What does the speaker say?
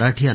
देतो